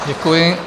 Děkuji.